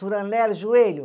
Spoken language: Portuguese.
joelho.